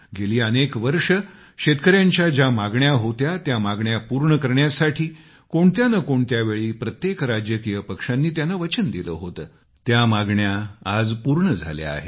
गेली अनेक वर्षे शेतकऱ्यांच्या ज्या मागण्या होत्या ज्या मागण्या पूर्ण करण्यासाठी कोणत्या न कोणत्या वेळी प्रत्येक राजकीय पक्षांनी त्यांना वचन दिलं होतं त्या मागण्या आज पूर्ण झाल्या आहेत